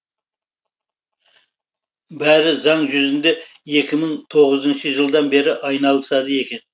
бәрі заң жүзінде екі мың тоғызыншы жылдан бері айналысады екен